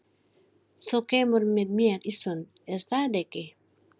Þú kemur með mér í sund, er það ekki?